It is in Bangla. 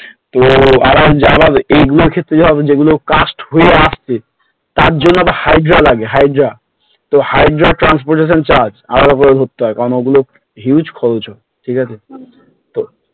তো যার এইগুলোর ক্ষেত্রে যে হবে cast হয়ে আসছে তার জন্য একটা hydra লাগে hydra তো hydra transportation charge আলাদা করে করতে হয় ওগুলো huge খরচ ঠিকাছে তো